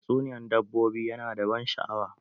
Tatsuniyan dabbobi ya na da ban sha'awa.